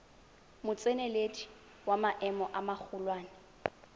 motseneledi wa maemo a magolwane